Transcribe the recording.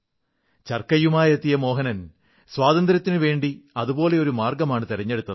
ചർക്കയുമായെത്തിയ മോഹനൻ സ്വാതന്ത്ര്യത്തിനുവേണ്ടി അതുപോലൊരു മാർഗ്ഗമാണു തിരഞ്ഞെടുത്തത്